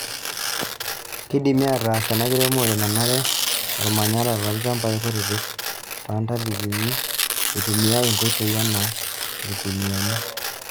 Keidimi aataas ena kiremore nanare olmanyara toolchamabi kutitik, toontainini eitumiyai nkoitoi anaa ilkuniyiani.